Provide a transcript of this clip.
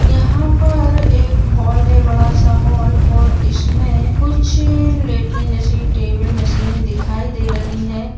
यहाँ पर एक हॉल है बड़ा सा हॉल और इसमें कुछ लेटने जैसी टेबल मशीने दिखाई दे रही है।